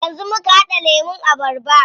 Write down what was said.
Yanzu muka haɗa lemun abarba.